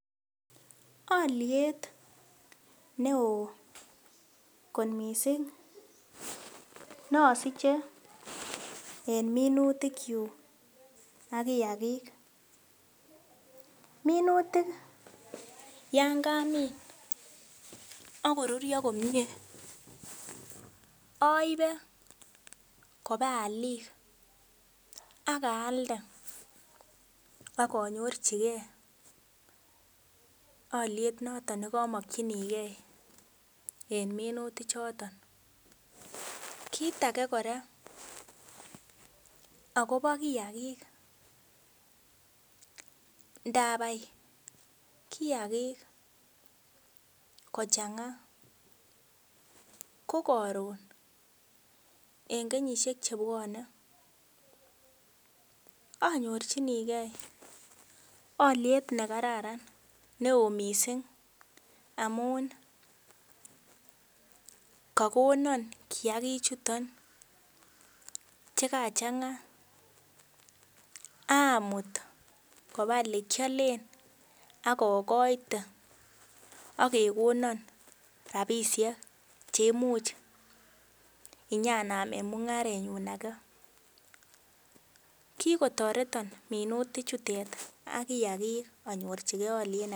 Oliet neo kot mising nosiche en minutikyuk ak kiagik. Minutik yon kamin ak korurio komie aibe koba oliik ak aalde ak anyorchige oliet noton ne kamakyinige en minutichoton. Kit age kora agobo kiagik ndabai kiagik kochanga ko karun en kenyisiek chebwone anyorchinige oliet ne kararan neo mising amun kagonon kiagik chuton che kachanga amut koba elekialen ak agoite ak kegonon rapisiek che imuch inyanamen mungarenyun age. Kikotoreton minutichutet ak kiagik anyorchige oliet.